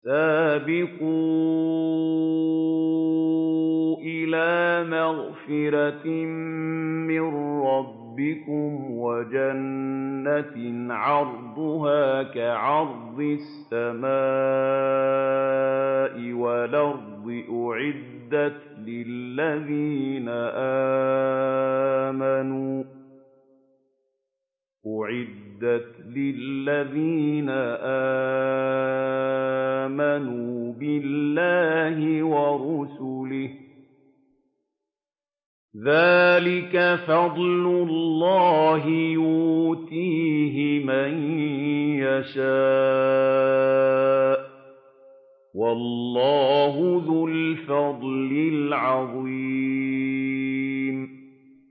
سَابِقُوا إِلَىٰ مَغْفِرَةٍ مِّن رَّبِّكُمْ وَجَنَّةٍ عَرْضُهَا كَعَرْضِ السَّمَاءِ وَالْأَرْضِ أُعِدَّتْ لِلَّذِينَ آمَنُوا بِاللَّهِ وَرُسُلِهِ ۚ ذَٰلِكَ فَضْلُ اللَّهِ يُؤْتِيهِ مَن يَشَاءُ ۚ وَاللَّهُ ذُو الْفَضْلِ الْعَظِيمِ